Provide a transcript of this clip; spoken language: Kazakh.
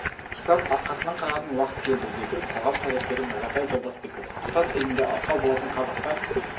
сипап арқасынан қағатын уақыт келді деді қоғам қайраткері мырзатай жолдасбеков тұтас фильмге арқау болатын қазақта